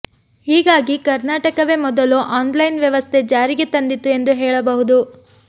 ಹೀಗಾಗಿ ಕರ್ನಾಟಕವೇ ಮೊದಲು ಆನ್ಲೈನ್ ವ್ಯವಸ್ಥೆ ಜಾರಿಗೆ ತಂದಿತ್ತು ಎಂದು ಹೇಳಬಹುದು